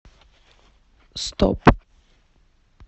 стоп